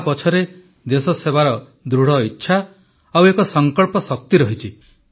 ଏହା ପଛରେ ଦେଶସେବାର ଦୃଢ଼ଇଚ୍ଛା ଆଉ ଏକ ସଙ୍କଳ୍ପଶକ୍ତି ରହିଛି